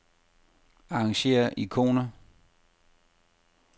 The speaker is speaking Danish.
Arrangér ikoner.